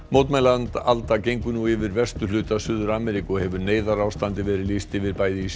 mótmælaalda gengur nú yfir vesturhluta Suður Ameríku og hefur neyðarástandi verið lýst yfir bæði í